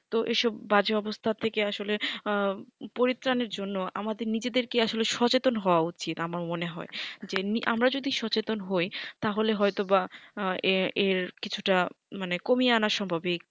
তো এসব বাজে অবস্থা থেকে আসলে আঃ পরিত্রান এর জন্য আমাদের নিজেদের কে আর কি সচেতন হওয়া উচিত আমার মনে হয় যে আমরা যদি সচেতন হয় তাহলে হয় তো বা এ এর কিছুটা মানে কমিয়ে আনা সম্ভাবিক